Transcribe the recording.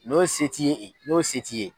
N'o se t' i ye, n'o se t'i ye.